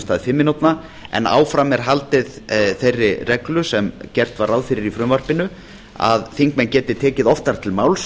stað fimm mínútna en áfram er haldið þeirri reglu sem gert var ráð fyrir í frumvarpinu þingmenn geti tekið oftar til máls